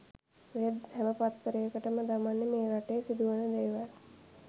ඔය හැම පත්තරයකම දමන්නේ මේ රටේ සිදුවන දේවල්.